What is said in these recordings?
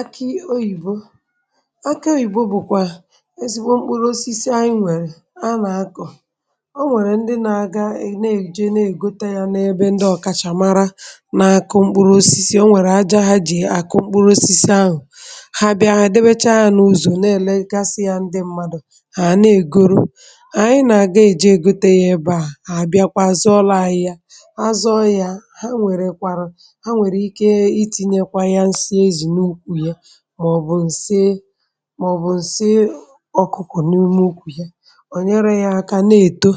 akị oyibo akị oyibo bụ kwa ezigbo mkpụrụ osisi anyị nwere a na-akọ o nwere ndị na-aga ne-eje ne-egote ya n’ebe ndị ọkachamara na-akọ mkpụrụ osisi o nwere aja ha ji akụ mkpụrụ osisi ahụ ha bịa adịbecha ha n’ụzọ na-elegasị ya ndị mmadụ ha na-egoro anyị na-aga eji egote ya ebe a ha bịakwa zụọlụ anyi ya, azụọlụ ya ha nwere ike itinyekwa nsi ezi n'ukwu ya màọbụ̀ ǹsi màọbụ̀ ǹsi ọkụkụ n’ime ụkwụ̀ ihe ò nyere yȧ aka na-èto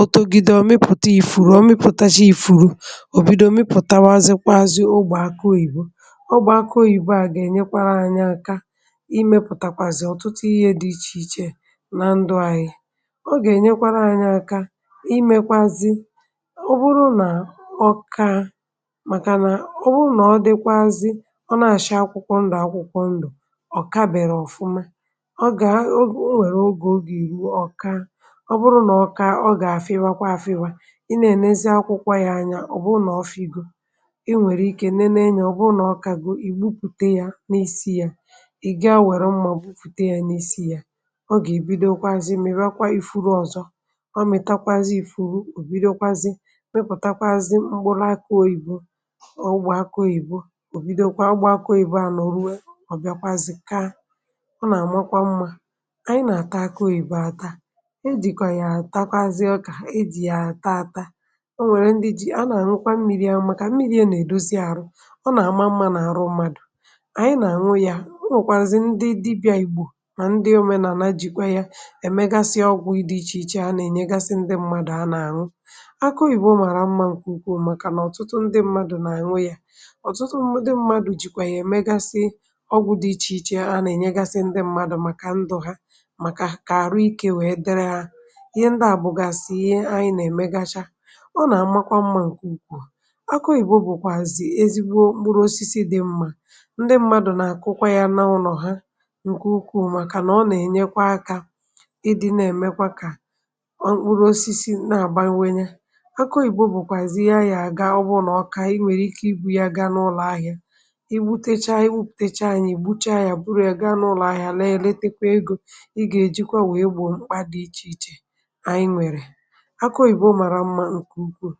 otȯgide ọ̀ mịpụ̀ta ifu̇ru̇ ọ̀ mịpụtacha ifu̇ru̇ ò bido mịpụ̀tawa zikwazị ogbè akụ oyìbo ogbè akụ oyìbo a gà-ènyekwara anyị̇ aka imė pụ̀takwazị ọ̀tụtụ ihe dị ichè ichè na ndụ ahịa ọ gà-ènyekwara anyị̇ aka imekwazị ọ bụrụ nà ọ ka màkà nà ọ bụrụ nà ọ dịkwazị, o na acha akwukwo ndu akwukwo ndu ọ kabèrè ọ̀fụma ọ gà, o weru ogè ọ gà eru ọ kaa ọ bụrụ nà ọ kaa, ọ gà-àfịwakwa afịwȧ i nà ènèzi akwụkwọ yȧ anya ọ̀ bụrụ nà ọ fị̀go ị nwèrè ike nene ya, ọ̀ bụrụ nà ọ kagȯ ị̀ gbupùte yȧ na isi yȧ ị̀ ga were mma gbupụ̀ta yȧ na isi yà ọ gà èbidokwazị miwakwa ị̀furu ọzọ ọ mịtakwazị ị̀furu ò bidokwazị mepùtakwazị mkpụrụ aki oyìbo o aki oyìbo ọ nà-àmakwa mmȧ ànyị nà-àtakwa akụ oyibo ata ejìkwà yà àtakwazie ọkà ejì yà àta ata o nwèrè ndị ji̇ a nà-àhụkwa mmiri amụ̇ kà mmiri e nèdozi àrụ ọ nà-àma mmȧ n’àrụ mmadụ̀ ànyị nà-àṅụ ya o nwèkwàzì ndị dibị̇à ìgbò mà ndị òmenàna jìkwa ya èmegasịa ọgwụ̇ ichè ichè a nà-ènyegasị ndị mmadụ̀ a nà-àṅụ akụ oyibo màrà mmȧ nkù ukwuu màkànà ọ̀tụtụ ndị mmadụ̇ nà àṅụ ya otutu ndi mmadu jikwazi ya eme ọgwụ̇ dị ichè ichè a nà-ènyegasị ndị mmadụ̇ màkà ndụ̀ ha màkà àrụ ikė wèe dịrị ha ihe ndị à bụ̀gàsì ihe anyị nà-èmegacha ọ nà-àmakwa mmȧ ǹkè ukwuù aku oyibo bụ̀kwàzị̀ ezigbo mkpụrụ osisi dị mmȧ ndị mmadụ̀ nà-àkụkwa yȧ na ụnọ̀ ha ǹkè ukwuù màkà nà ọ nà-ènyekwa akȧ ịdị̇ nà-èmekwa kà ọ mkpụrụ osisi na-àbawanye aku oyìbo bụ̀kwàzị̀ ihe a nà ga ọbụ̇ n’ọka ị nwèrè ike ịbụ̇ ya ga n’ụlọ̀ ahịȧ gbuche anya bụrụ ya ga n’ụlọ ahịa na-eletekwa ego ị ga-ejikwa wee gbo mkpa dị iche iche anyị nwere akọghị bụ mara mma nke ukwuu.